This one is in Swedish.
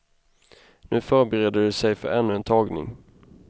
Nu förbereder de sig för ännu en tagning.